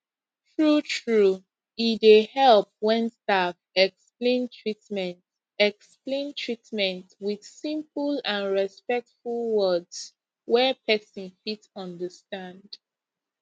truetrue e dey help when staff explain treatment explain treatment with simple and respectful words wey person fit understand